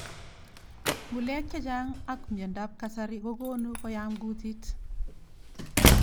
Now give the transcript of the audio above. Ng'ulek chechan ak mntendo ab kasari kokonu kuyam kutit.